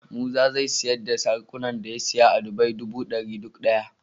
Musa zai siyar da saraƙunan da ya siya a dubai duba dari duk daya